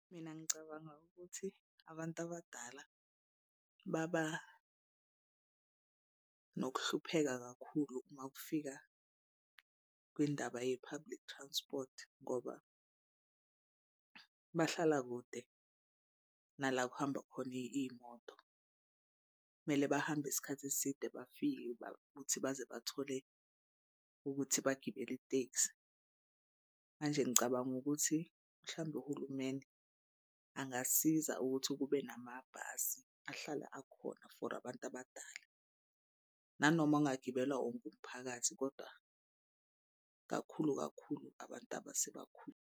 Mina ngicabanga ukuthi abantu abadala baba nokuhlupheka kakhulu uma kufika kwindaba ye-public transport ngoba bahlala kude nala kuhamba khona iy'moto. Kumele bahambe isikhathi eside bafike ukuthi baze bathole ukuthi bagibele itekisi. Manje ngicabanga ukuthi mhlambe uhulumeni angasiza ukuthi kube namabhasi ahlala akhona for abantu abadala. Nanoma angagibela wonke umphakathi kodwa kakhulu kakhulu abantu .